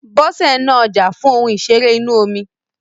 Bọ́sẹ̀ ń ná ọjà fún ohun ìṣeré inú omi.